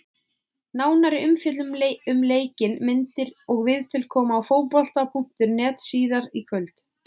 Nánari umfjöllun um leikinn, myndir og viðtöl koma á Fótbolta.net síðar í kvöld.